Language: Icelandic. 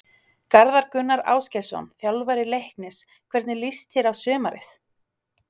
Garðar Gunnar Ásgeirsson, þjálfari Leiknis Hvernig líst þér á sumarið?